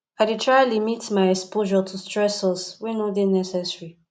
i dey try to limit my exposure to stressors wey no dey necessary